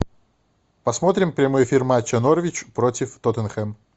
посмотрим прямой эфир матча норвич против тоттенхэм